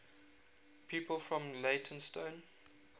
people from leytonstone